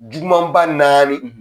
jugumanba naani